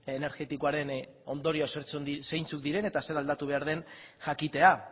energetikoaren ondorioak zeintzuk diren eta zer aldatu behar den jakitea